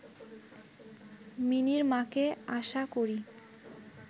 মিনির মাকে আশা করি